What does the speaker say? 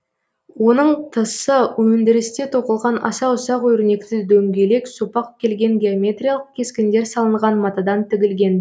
оның тысы өндірісте тоқылған аса ұсақ өрнекті дөңгелек сопақ келген геометриялық кескіндер салынган матадан тігілген